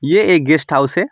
ये एक guest house है।